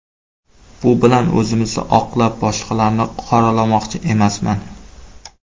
Bu bilan o‘zimizni oqlab, boshqalarni qoralamoqchi emasman.